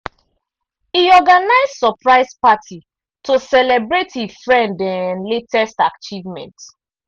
e organize surprise party to celebrate e friend um latest achievement.